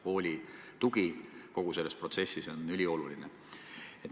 Kooli tugi kogu selles protsessis on ülioluline.